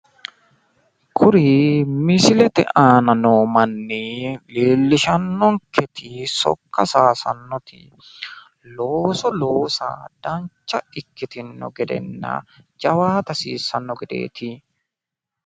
kuri misilete aana noo manni leellishannonketi sokka saayisannoti looso loosanna dancha ikkitinotanna jawaata hasiissanno gedeeti.